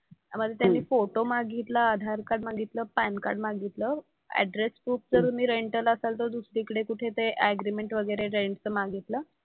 मग त्यांनी फोटो मागितला, आधार कार्ड मागितलं, पॅन कार्ड मागितलं, ऍड्रेस प्रूफ जर तुम्ही रेंटल असाल तर दुसरीकडे कुठे ते ऍग्रीमेंट वगैरे रेंटचं मागितलं.